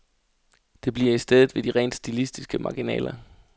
Det bliver i stedet ved de rent stilistiske marginaler.